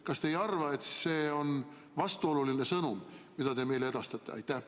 Kas te ei arva, et see on vastuoluline sõnum, mida te meile edastate?